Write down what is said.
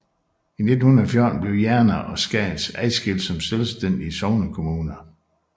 I 1914 blev Jerne og Skads adskilt som selvstændige sognekommuner